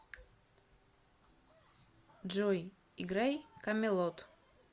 джой играй камелот